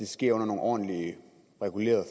sker under nogle ordentlige regulerede